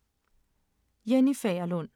Jenny Fagerlund